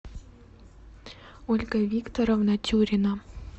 ольга викторовна тюрина